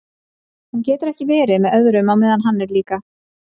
Hún getur ekki verið með öðrum á meðan hann er líka.